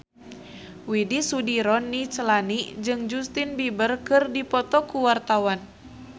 Widy Soediro Nichlany jeung Justin Beiber keur dipoto ku wartawan